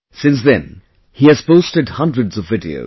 Since then, he has posted hundreds of videos